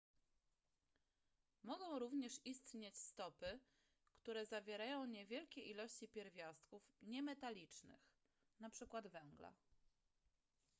mogą również istnieć stopy które zawierają niewielkie ilości pierwiastków niemetalicznych np węgla